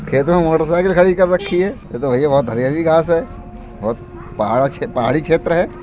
खेत में मोटरसाइकिल खड़ी कर रखी है। यह तो भईया बहुत हरी-हरी घास है बहुत पहाड़ा पहाड़ी क्षेत्र हैं।